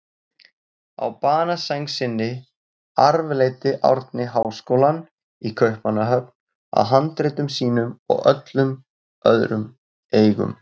Á banasæng sinni arfleiddi Árni háskólann í Kaupmannahöfn að handritum sínum og öllum öðrum eigum.